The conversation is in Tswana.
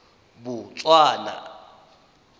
botswana